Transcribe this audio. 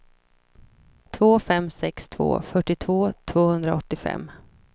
två fem sex två fyrtiotvå tvåhundraåttiofem